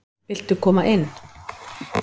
Viltu koma inn?